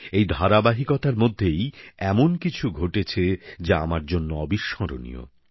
এই ধারাবাহিকতার মধ্যেই এমন কিছু ঘটেছে যা আমার জন্য অবিস্মরণীয়